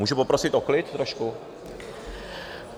Můžu poprosit o klid trošku?